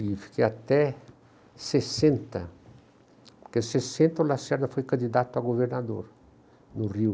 E fiquei até sessenta, porque em sessenta o Lacerda foi candidato a governador, no Rio.